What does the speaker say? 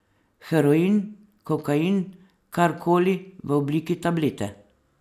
Heroin, kokain, kar koli v obliki tablete.